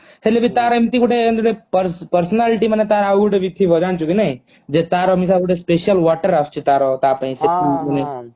ହେଲେବି ତାର ଏମିତି ଗୋଟେ ଏମିତି ଗୋଟେ personality ମାନେ ତାର ଆଉ ଗୋଟେ ବି ଥିବ ଜାଣିଚୁକୀ ନାଇ ଯେ ତାର ଗୋଟେ special water ଆସୁଛି ତାର ତାପାଇଁ ସେ